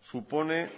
supone